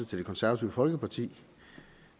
til det konservative folkeparti